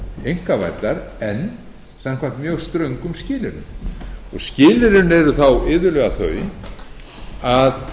einkavæddar en samkvæmt mjög ströngum skilyrðum skilyrðin eru þá iðulega þau að